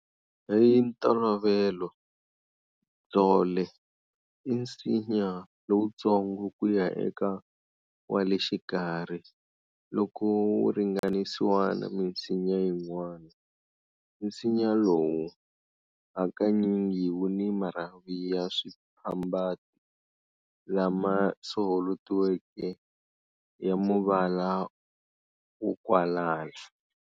"Hintolovelo, Ndzhole" i nsinya lowutsongo ku ya eka wa le xikarhi loko wu ringanisiwa na minsinya yin'wana. Nsinya lowu hakanyingi wu ni marhavi ya swiphambati lama soholotiweke ya muvala wo kwalala.